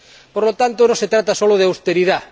Por lo tanto, no se trata solo de austeridad.